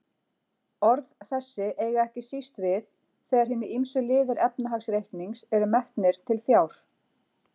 Orð þessi eiga ekki síst við þegar hinir ýmsu liðir efnahagsreiknings eru metnir til fjár.